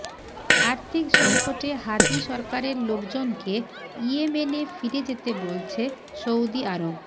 আর্থিক সংকটে হাদি সরকারের লোকজনকে ইয়েমেনে ফিরে যেতে বলছে সৌদি আরব